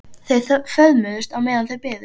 Þau föðmuðust á meðan þau biðu.